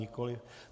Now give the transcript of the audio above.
Nikoliv.